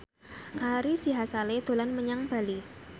Ari Sihasale dolan menyang Bali